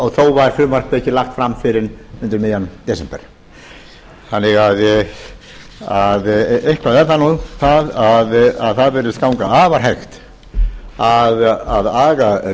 og þó var frumvarpið ekki lagt fram fyrr en undir miðjan desember þannig að eitthvað er það nú að það virðist ganga afar hægt að aga